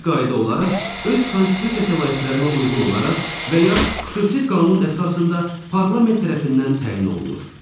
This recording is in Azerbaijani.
Bir qayda olaraq, öz konstitusiya səlahiyyətlərinə uyğun olaraq və ya xüsusi qanun əsasında parlament tərəfindən təyin olunur.